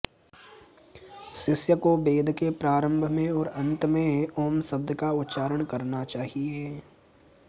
शिष्य को वेद के प्रारम्भ में और अन्त में ऊँ शब्द का उच्चारण करना चहिये